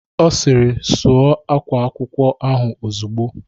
Ọ sịrị "Sụọ ákwá akwụkwọ ahụ ozugbo"